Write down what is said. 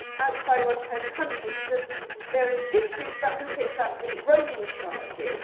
outside one's home country because there is a dispute about who picks up the roaming charges.